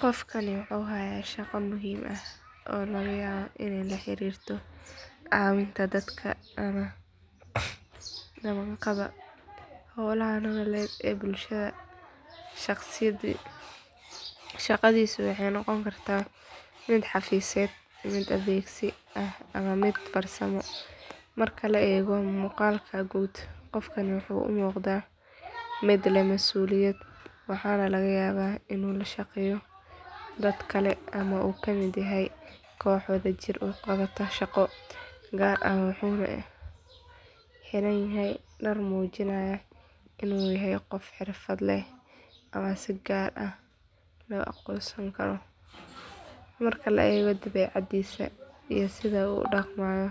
Qofkani wuxuu haaya shaqa muhiim ah oo laga yaabo inaay la xariirto cawinta dalka, howlaha nololeed ee bulshada, shaqadiisa waxeey noqon kartaa mid xafiseed mid adeegsi ah ama mid farsamo, qofkani wuxuu umuqadaa mid leh masuliyada waxaana laga yaaba inuu la shaqeeyo dad kale ama uu kamid yahay koox wada jir uqabata shaqa, wuxuuna xiran yahay dar muujinaya inuu yahay qof xirfad leh ama si gaar ah la aqoonsan Karo, marka la eego dabeecadiisa ama sida uu udaqmayo,